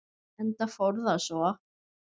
Enda fór það svo.